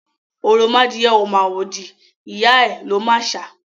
Òròmadìẹ ò màwòdì, ìyá ẹ̀ ló màṣá.